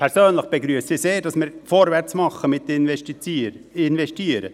Persönlich begrüsse ich es sehr, dass wir mit Investieren vorwärtsmachen.